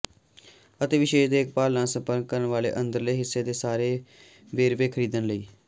ਅਤੇ ਵਿਸ਼ੇਸ਼ ਦੇਖਭਾਲ ਨਾਲ ਸੰਪਰਕ ਕਰਨ ਵਾਲੇ ਅੰਦਰਲੇ ਹਿੱਸੇ ਦੇ ਸਾਰੇ ਵੇਰਵੇ ਖਰੀਦਣ ਲਈ